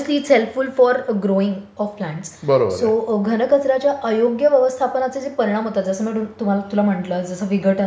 Obviously it is helpful for growing so घन कचर् याच्या अयोग्य व्यवस्थापनेने जे परिणाम होतात जसे मी तुला म्हंटलं विघटन त्याच्यानंतर परिणाम सो परिणामांमध्ये नैसर्गिक सौंदर्य कमी होणे 760.730881 763.730877 हा, हा.